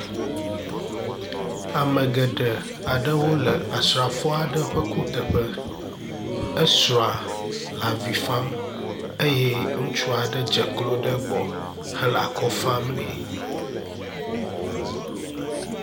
Ame geɖe aɖewo le asrafo aɖe ƒe kuteƒe, esrɔ̃a le avi fam eye ŋutsu aɖe dzeklo ɖe egbɔ hele akɔ fam nɛ